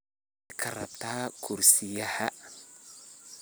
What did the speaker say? Nocey karabtaa kursiyahan.